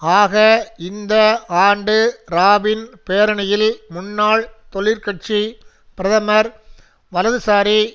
ஆக இந்த ஆண்டு ராபின் பேரணியில் முன்னாள் தொழிற்கட்சி பிரதமர் வலதுசாரி